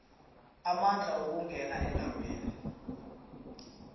amandla ukungena endaweni